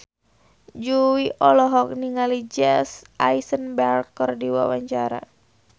Jui olohok ningali Jesse Eisenberg keur diwawancara